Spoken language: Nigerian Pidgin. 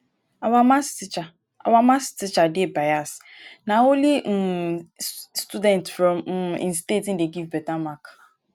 our math teacher our math teacher dey bias na only um students from um im state he dey give beta mark